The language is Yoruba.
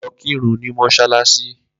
Lo̩ kirun ní mọ́ṣáláṣí!